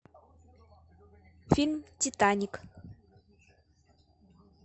фильм титаник